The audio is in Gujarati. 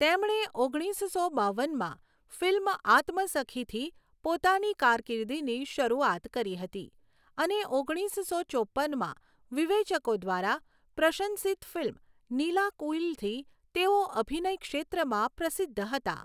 તેમણે ઓગણીસસો બાવનમાં ફિલ્મ 'આત્મસખી'થી પોતાની કારકિર્દીની શરૂઆત કરી હતી અને ઓગણીસો ચોપ્પનમાં વિવેચકો દ્વારા પ્રશંસિત ફિલ્મ 'નીલાકુઈલ'થી તેઓ અભિનય ક્ષેત્રમાં પ્રસિદ્ધ હતા.